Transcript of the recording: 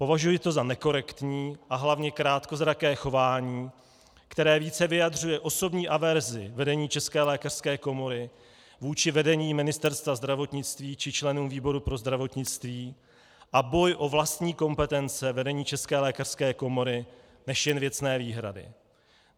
Považuji to za nekorektní a hlavně krátkozraké chování, které více vyjadřuje osobní averzi vedení České lékařské komory vůči vedení Ministerstva zdravotnictví či členům výboru pro zdravotnictví a boj o vlastní kompetence vedení České lékařské komory než jen věcné výhrady.